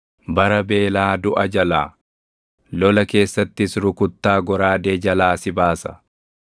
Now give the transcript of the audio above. Bara beelaa duʼa jalaa, lola keessattis rukuttaa goraadee jalaa si baasa.